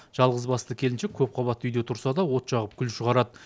жалғызбасты келіншек көпқабатты үйде тұрса да от жағып күл шығарады